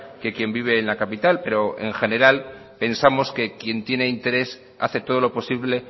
que quien vive en la capital pero en general pensamos que quien tiene interés hace todo lo posible